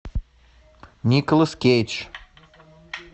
николас кейдж